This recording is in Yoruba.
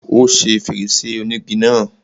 Ó ṣe fèrèsé ònígi náà.